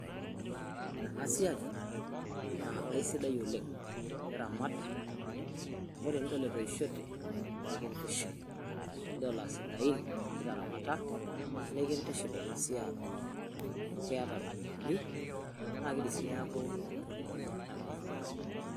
Ore enasiai naa aisidai oleng' teniramat amu ore piidol etoishote nikintiship tenidol aasidain tenitaramata nikintiship ena siai amu keeta ropiyiani naa kidim sii neeku entoki ninya anaa olng'anayioi.